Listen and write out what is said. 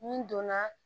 Ni donna